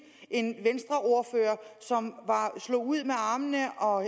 en venstreordfører som slog ud med armene og